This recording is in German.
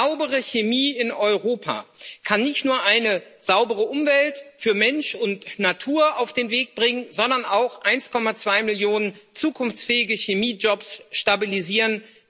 Saubere Chemie in Europa kann nicht nur eine saubere Umwelt für Mensch und Natur auf den Weg bringen, sondern auch 1,2 Millionen zukunftsfähige Chemiejobs stabilisieren.